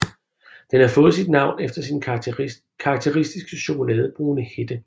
Den har fået sit navn efter sin karakteristiske chokoladebrune hætte